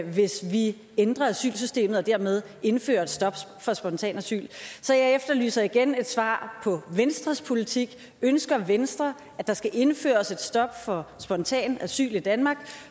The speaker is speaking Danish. hvis vi ændrer asylsystemet og dermed indfører et stop for spontant asyl så jeg efterlyser igen et svar med hensyn venstres politik ønsker venstre at der skal indføres et stop for spontant asyl i danmark